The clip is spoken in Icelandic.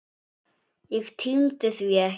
Ég tímdi því ekki.